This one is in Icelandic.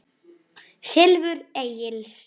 Silfur Egils